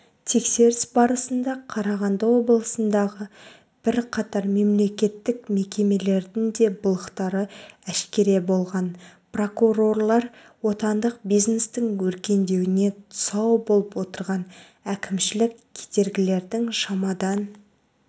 тексеріс барысында қарағанды облысындағы бірқатар мемлекеттік мекемелердің де былықтары әшкере болған прокурорлар отандық бизнестің өркендеуіне тұсау болып отырған әкімшілік кедергілердің шамадан